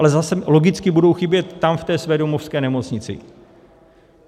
Ale zase logicky budou chybět tam v té své domovské nemocnici.